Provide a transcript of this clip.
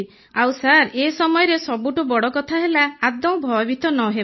ଆଉ ସାର୍ ଏ ସମୟରେ ସବୁଠୁ ବଡ଼କଥା ହେଲା ଆଦୌ ଭୟଭୀତ ନ ହେବା